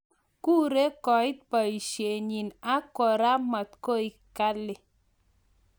kuree koet paisetnyin ak kora matkoeg galii